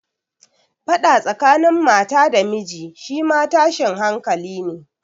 Faɗa tsakanin mata da miji shi ma tashin hankali ne.